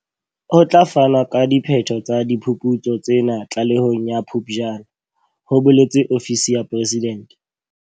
Ho tla fanwa ka diphetho tsa diphuputso tsena tlalehong ya Phuptjane, ho boletse ofisi ya Presidente.